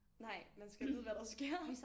Nej man skal vide hvad der sker